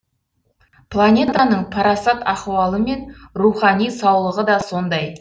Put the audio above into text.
планетаның парасат ахуалы мен рухани саулығы да сондай